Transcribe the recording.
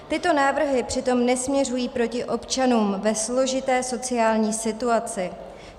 Tyto návrhy přitom nesměřují proti občanům ve složité sociální situaci.